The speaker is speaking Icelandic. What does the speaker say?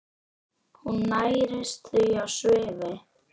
Hún nærist því á svifi.